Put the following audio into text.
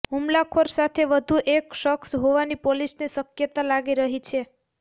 હુમલાખોર સાથે વધુ એક શખ્સ હોવાની પોલીસને શક્યતા લાગી રહી છે